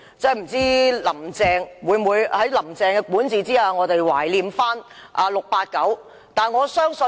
不知道在"林鄭"的管治之下，我們會否懷念 "689"。